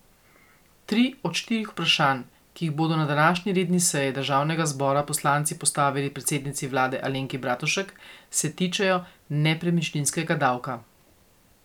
Tri od štirih vprašanj, ki jih bodo na današnji redni seji državnega zbora poslanci postavili predsednici vlade Alenki Bratušek, se tičejo nepremičninskega davka.